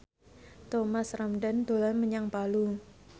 Thomas Ramdhan dolan menyang Palu